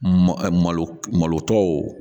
Malo malo tɔw